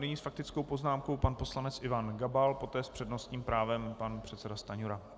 Nyní s faktickou poznámkou pan poslanec Ivan Gabal, poté s přednostním právem pan předseda Stanjura.